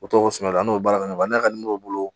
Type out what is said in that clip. O tɔgɔ sɛbɛn n'o ye baara kɛ ɲɔgɔn fɛ n'a ka di n'o bolo